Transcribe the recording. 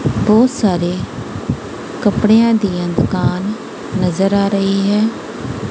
ਬਹੁਤ ਸਾਰੇ ਕਪੜਿਆਂ ਦੀਆਂ ਦੁਕਾਨ ਨਜ਼ਰ ਆ ਰਹੀ ਹੈ।